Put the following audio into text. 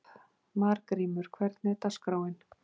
Margrímur, hvernig er dagskráin?